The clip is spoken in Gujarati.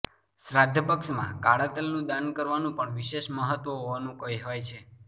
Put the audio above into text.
શ્રાદ્ધ પક્ષમાં કાળા તલનું દાન કરવાનું પણ વિશેષ મહત્વ હોવાનું કહેવાય છે